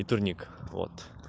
и турник вот